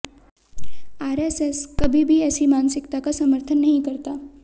RSS कभी भी ऐसी मानसिकता का समर्थन नहीं करता